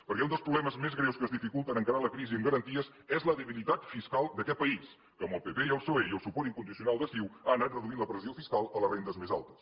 perquè un dels problemes més greus que ens dificulten encara la crisi amb garanties és la debilitat fiscal d’aquest país que amb el pp i el psoe i el suport incondicional de ciu ha anat reduint la pressió fiscal a les rendes més altes